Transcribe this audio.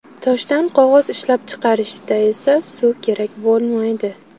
Toshdan qog‘oz ishlab chiqarishda esa suv kerak bo‘lmaydi.